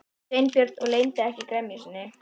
Sveinbjörn og leyndi ekki gremju sinni.